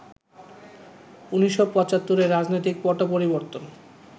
১৯৭৫ এ রাজনৈতিক পট পরিবর্তন